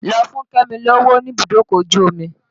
Lọ fún kẹ́mi lówó níbùdókọ̀ ojú omi!